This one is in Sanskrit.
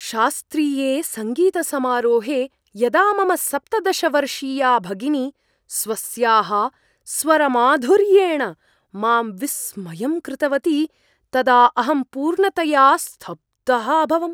शास्त्रीये सङ्गीतसमारोहे यदा मम सप्तदश वर्षीया भगिनी स्वस्याः स्वरमाधुर्येण मां विस्मयं कृतवती तदा अहं पूर्णतया स्तब्धः अभवम्।